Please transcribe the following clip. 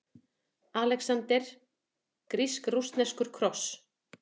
ALEXANDER: Grísk-rússneskur kross!